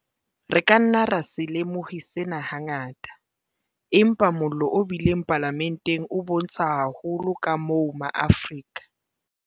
Re ka nna ra se lemohe sena hangata, empa mollo o bileng Palamenteng o bontsha haholo kamoo ma Afrika